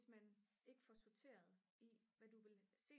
man ikke får sorteret i hvad du vil se